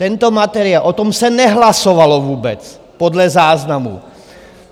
Tento materiál, o tom se nehlasovalo vůbec podle záznamu!